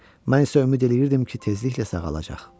Mən isə ümid eləyirdim ki, tezliklə sağalacaq.